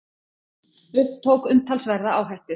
Tók umtalsverða áhættu